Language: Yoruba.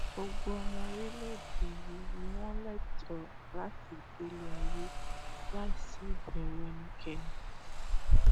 gbogbo ọmọ orílẹèdè yìí ni wọn lẹtọọ láti gbélé ayé láì sí ìbẹrù ẹnikẹni